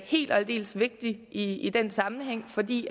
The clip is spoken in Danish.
helt og aldeles vigtig i den sammenhæng fordi